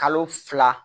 Kalo fila